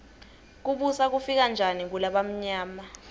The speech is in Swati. kubusa kufike njani kulabamyama